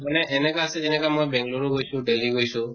মানে এনেকা আছে যেনেকা বেংগালুৰু গৈছো delhi গৈছো